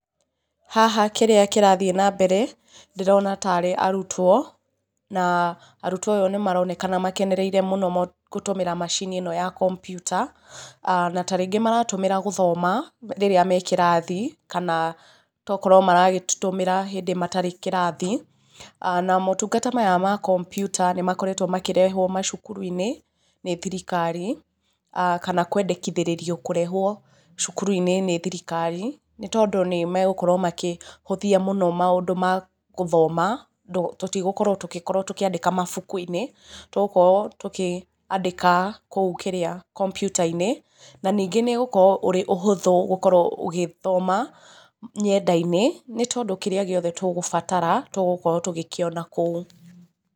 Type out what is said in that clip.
Haha kĩrĩa kĩrathiĩ na mbere ndĩrona tarĩ arutwo, na arutwo ayũ nĩ maronekana makenĩreire mũno gũtũmĩra macini ĩno ya kompuita, na tarĩngĩ maratũmĩra gũthoma rĩrĩa me kĩrathi, kana tokorwo maragĩtũmĩra hĩndĩ matarĩ kĩrathi, na motungata maya ma kompuita nĩ makoretwo makĩrehwo macukuru-inĩ nĩ thirikari, kana kwendekithirĩrio kũrehwo cukuru-inĩ nĩ thirikari, nĩ tondũ nĩ megũkorwo makĩhũthia mũno maũndũ ma gũthoma, tũtigũkorwo tũgĩkorwo tũkĩandĩka mabuku-inĩ, tũgũkorwo tũkĩandĩka kũu kĩrĩa, kompuita-inĩ, na ningĩ nĩ ĩgukorwo ĩrĩ ũhũthũ gũkorwo ũgĩthoma nyenda-inĩ, nĩ tondũ kĩrĩa gĩothe tũgũbatara tũgũkorwo tũgĩkĩona kũu.